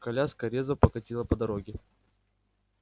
коляска резво покатила по дороге